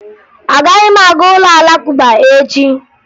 Agaghị m aga ụlọ Alakụba echi